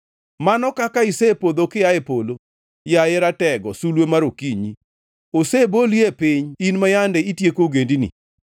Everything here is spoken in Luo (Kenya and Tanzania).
Mano kaka isepodho kia e polo, yaye ratego, sulwe mar okinyi! Oseboli e piny in ma yande itieko ogendini.